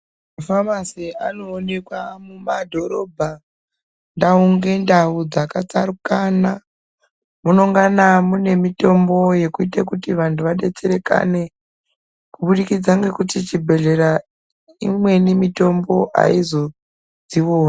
Mafamasi anoonekwa mumadhorobha ndau ngendau dzakatsarukana. Munongana mune mitombo yekuite kuti vantu vabetserekane kubudikidza ngekuti chibhedhlera imweni mitombo haizo dzioni.